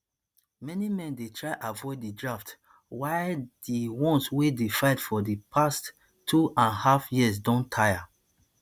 many men dey try avoid di draft while di ones wey dey fight for di past two and half years don tire